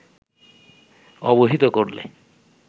অবহিত করলে